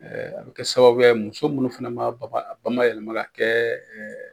a bɛ kɛ sababuya ye muso minnu fana m'a bama a bamayɛlɛma ka kɛ